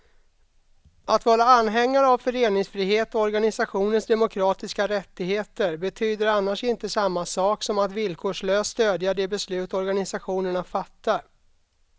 Att vara anhängare av föreningsfrihet och organisationers demokratiska rättigheter betyder annars inte samma sak som att villkorslöst stödja de beslut organisationerna fattar.